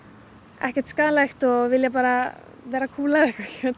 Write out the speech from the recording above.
ekkert skaðlegt og vilja bara vera kúl